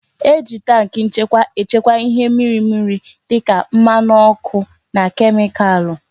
E ji tankị nchekwa echekwa ihe mmiri mmiri dịka mmanụ ọkụ na kemikalụ